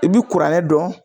I bi kuranɛ dɔn